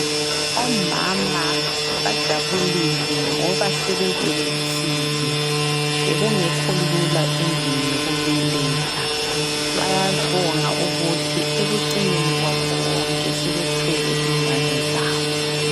Omama bajabulile ngoba sebebelethile ,bekungekho lula endlini yokubeletha. Bayabonga ukuthi ekucineni kwakho konke sebethwele ingane zabo.